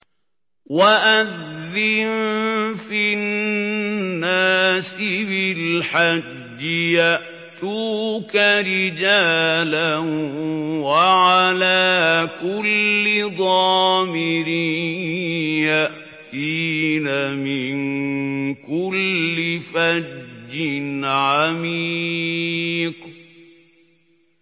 وَأَذِّن فِي النَّاسِ بِالْحَجِّ يَأْتُوكَ رِجَالًا وَعَلَىٰ كُلِّ ضَامِرٍ يَأْتِينَ مِن كُلِّ فَجٍّ عَمِيقٍ